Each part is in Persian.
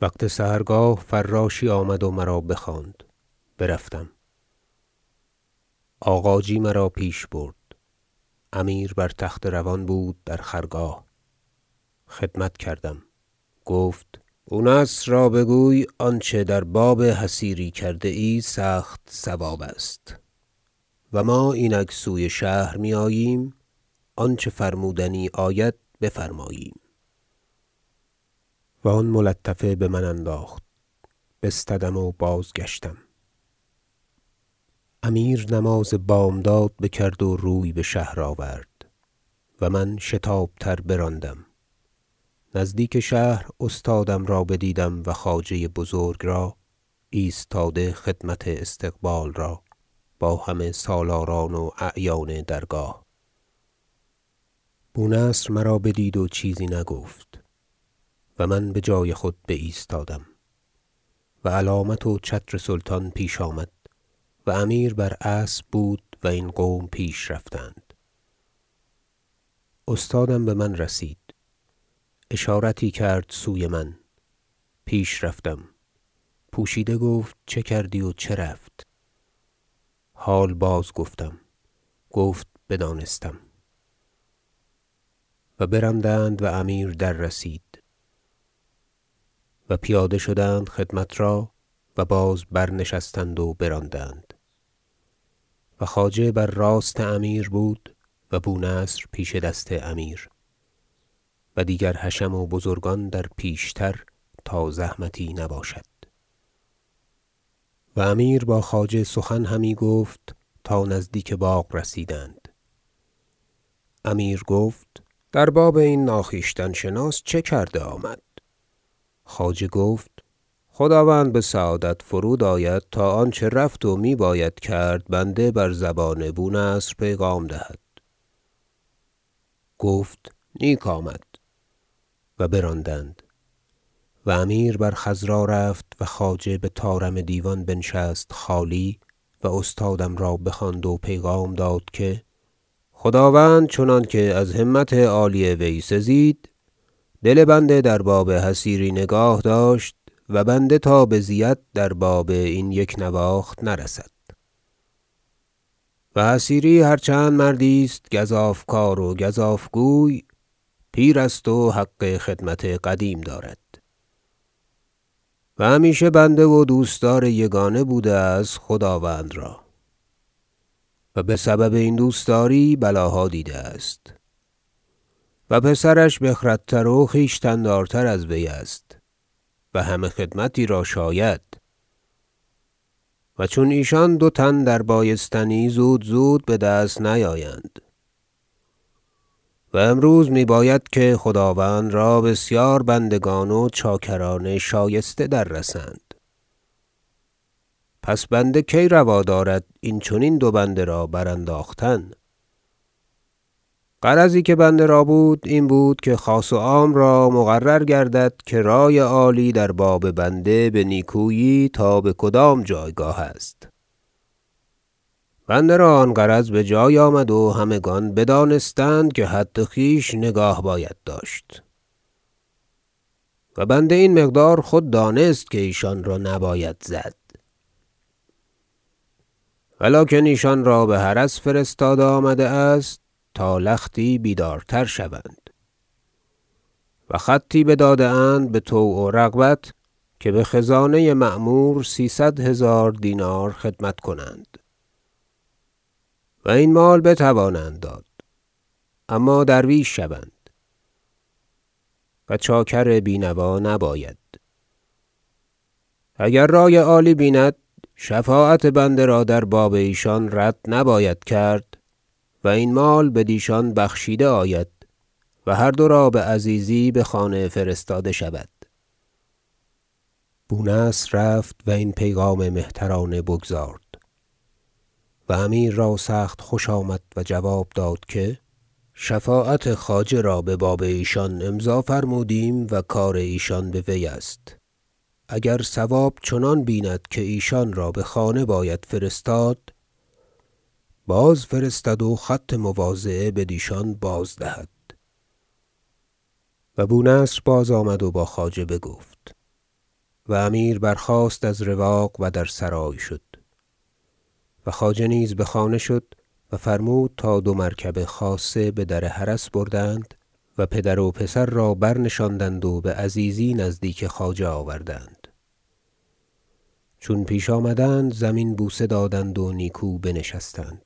وقت سحرگاه فراشی آمد و مرا بخواند برفتم آغاجی مرا پیش برد امیر بر تخت روان بود در خرگاه خدمت کردم گفت بو نصر را بگوی آنچه در باب حصیری کرده سخت صواب است و ما اینک سوی شهر میآییم آنچه فرمودنی آید بفرماییم و آن ملطفه بمن انداخت بستدم و بازگشتم امیر نماز بامداد بکرد و روی بشهر آورد و من به شتاب تر براندم نزدیک شهر استادم را بدیدم و خواجه بزرگ را ایستاده خدمت استقبال را با همه سالاران و اعیان درگاه بو نصر مرا بدید و چیزی نگفت و من بجای خود بایستادم و علامت و چتر سلطان پیش آمد و امیر بر اسب بود و این قوم پیش رفتند استادم بمن رسید اشارتی کرد سوی من پیش رفتم پوشیده گفت چه کردی و چه رفت حال بازگفتم گفت بدانستم و براندند و امیر دررسید و پیاده شدند خدمت را و باز برنشستند و براندند و خواجه بر راست امیر بود و بو نصر پیش دست امیر و دیگر حشم و بزرگان در پیشتر تا زحمتی نباشد و امیر با خواجه سخن همی گفت تا نزدیک باغ رسیدند امیر گفت در باب این ناخویشتن شناس چه کرده آمد خواجه گفت خداوند بسعادت فرود آید تا آنچه رفت و می باید کرد بنده بر زبان بو نصر پیغام دهد گفت نیک آمد و براندند و امیر بر خضرا رفت و خواجه بطارم دیوان بنشست خالی و استادم را بخواند و پیغام داد که خداوند چنانکه از همت عالی وی سزید دل بنده در باب حصیری نگاه داشت و بنده تا بزید در باب این یک نواخت نرسد و حصیری هرچند مردی است گزاف کار و گزاف گوی پیر است و حق خدمت قدیم دارد و همیشه بنده و دوستدار یگانه بوده است خداوند را و بسبب این دوستداری بلاها دیده است پسرش بخردتر و خویشتن دارتر از وی است و همه خدمتی را شاید و چون ایشان دو تن دربایستنی زودزود بدست نیایند و امروز می باید که خداوند را بسیار بندگان و چاکران شایسته دررسند پس بنده کی روا دارد این چنین دو بنده را برانداختن غرضی که بنده را بود این بود که خاص و عام را مقرر گردد که رأی عالی در باب بنده به نیکویی تا بکدام جایگاه است بنده را آن غرض بجای آمد و همگان بدانستند که حد خویش نگاه باید داشت و بنده این مقدار خود دانست که ایشان را نباید زد و لکن ایشان را بحرس فرستاده آمده است تا لختی بیدارتر شوند و خطی بداده اند بطوع و رغبت که بخزانه معمور سیصد هزار دینار خدمت کنند و این مال بتوانند داد اما درویش شوند و چاکر بینوا نباید اگر رأی عالی بیند شفاعت بنده را در باب ایشان رد نباید کرد و این مال بدیشان بخشیده آید و هر دو را بعزیزی بخانه فرستاده شود بو نصر رفت و این پیغام مهترانه بگزارد و امیر را سخت خوش آمد و جواب داد که شفاعت خواجه را بباب ایشان امضا فرمودیم و کار ایشان به وی است اگر صواب چنان بیند که ایشان را بخانه باید فرستاد بازفرستد و خط مواضعه بدیشان بازدهد و بو نصر بازآمد و با خواجه بگفت و امیر برخاست از رواق و در سرای شد و خواجه نیز بخانه شد و فرمود تا دو مرکب خاصه بدر حرس بردند و پدر و پسر را برنشاندند و بعزیزی نزدیک خواجه آوردند چون پیش آمدند زمین بوسه دادند و نیکو بنشستند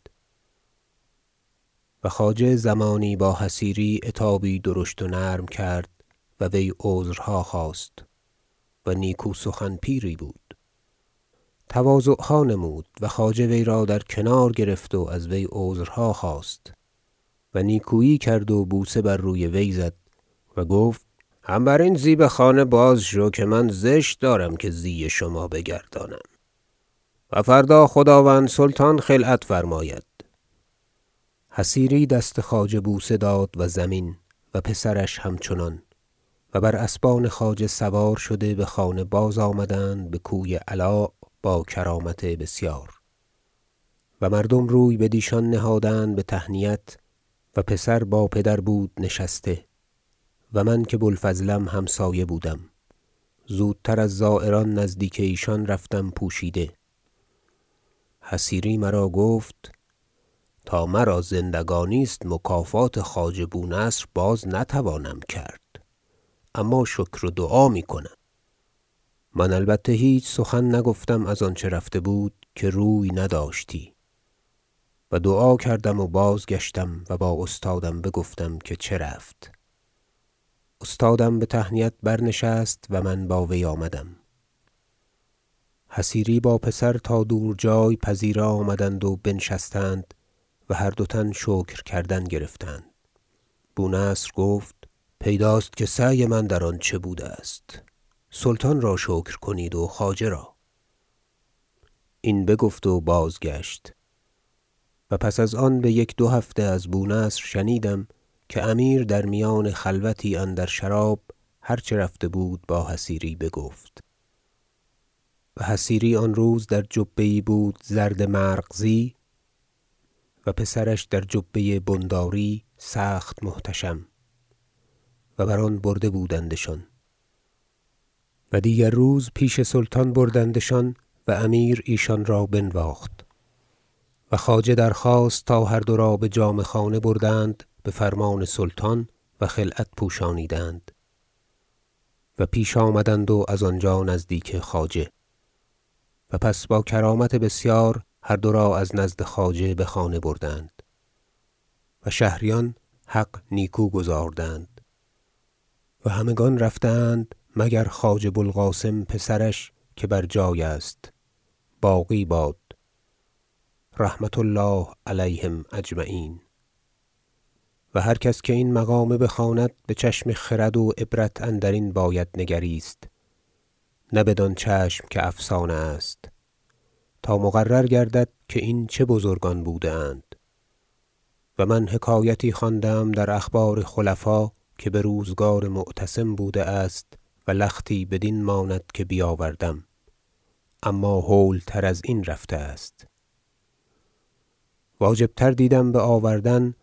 و خواجه زمانی با حصیری عتابی درشت و نرم کرد و وی عذرها خواست- و نیکو سخن پیری بود- تواضعها نمود و خواجه وی را در کنار گرفت و از وی عذرها خواست و نیکویی کرد و بوسه بر روی وی زد و گفت هم برین زی بخانه باز شو که من زشت دارم که زی شما بگردانم و فردا خداوند سلطان خلعت فرماید حصیری دست خواجه بوسه داد و زمین و پسرش همچنان و بر اسبان خواجه سوار شده بخانه بازآمدند بکوی علاء - با کرامت بسیار و مردم روی بدیشان نهادند به تهنیت و پسر با پدر بود نشسته و من که بو الفضلم همسایه بودم زودتر از زایران نزدیک ایشان رفتم پوشیده حصیری مرا گفت تا مرا زندگانی است مکافات خواجه بو نصر باز نتوانم کرد اما شکر و دعا میکنم من البته هیچ سخن نگفتم از آنچه رفته بود که روی نداشتی و دعا کردم و باز گشتم و با استادم بگفتم که چه رفت استادم به تهنیت برنشست و من با وی آمدم حصیری با پسر تا دور جای پذیره آمدند و بنشستند و هر دو تن شکر کردن گرفتند بو نصر گفت پیداست که سعی من در آن چه بوده است سلطان را شکر کنید و خواجه را این بگفت و بازگشت و پس از آن بیک دو هفته از بو نصر شنیدم که امیر در میان خلوتی اندر شراب هر چه رفته بود با حصیری بگفت و حصیری آن روز در جبه یی بود زرد مرغزی و پسرش در جبه بنداری سخت محتشم و بر آن برده بودندشان و دیگر روز پیش سلطان بردندشان و امیر ایشانرا بنواخت و خواجه درخواست تا هر دو را بجامه خانه بردند بفرمان سلطان و خلعت پوشانیدند و پیش آمدند و از آنجا نزدیک خواجه و پس با کرامت بسیار هر دو را از نزد خواجه بخانه بردند و شهریان حق نیکو گزاردند و همگان رفته اند مگر خواجه بو القاسم پسرش که بر جای است باقی باد و رحمة الله علیهم اجمعین و هر کس که این مقامه بخواند بچشم خرد و عبرت اندرین باید نگریست نه بدان چشم که افسانه است تا مقرر گردد که این چه بزرگان بوده اند و من حکایتی خوانده ام در اخبار خلفا که بروزگار معتصم بوده است و لختی بدین ماند که بیاوردم اما هول تر ازین رفته است واجب تر دیدم بآوردن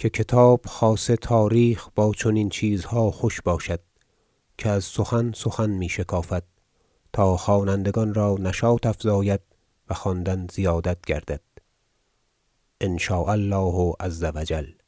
که کتاب خاصه تاریخ با چنین چیزها خوش باشد که از سخن سخن می شکافد تا خوانندگان را نشاط افزاید و خواندن زیادت گردد ان شاء الله عزوجل